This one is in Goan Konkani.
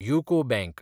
UCO bank